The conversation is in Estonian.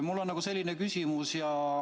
Mul on selline küsimus.